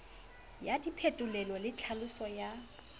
ya diphetolelo le tlhaolo ya